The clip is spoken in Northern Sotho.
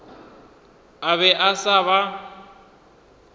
a be a sa ba